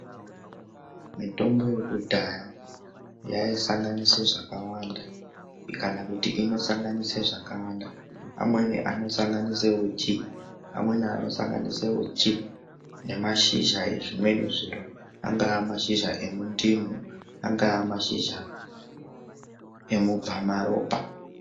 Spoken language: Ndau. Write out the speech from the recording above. Mitombo yekudhaya yaisanganisa zvakawanda kana kuti inosanganisa zvakawanda amweni anosanganisa uchi nemashizha nezvimweni zviro anga mashizha emundimu angamashizha emubva maropa.